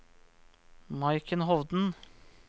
Maiken Hovden